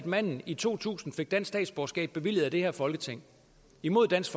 manden i to tusind fik dansk statsborgerskab bevilget af det her folketing imod dansk